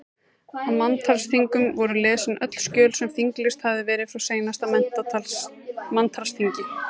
Á manntalsþingum voru lesin öll skjöl sem þinglýst hafði verið frá seinasta manntalsþingi.